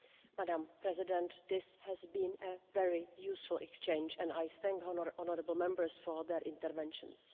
Madam President, this has been a very useful exchange and I thank the honourable Members for their interventions.